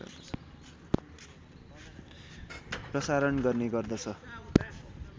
प्रसारण गर्ने गर्दछ